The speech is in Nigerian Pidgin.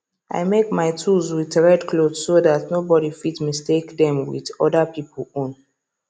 i make my tools with red cloth so that no body fit mistake them with other pipo own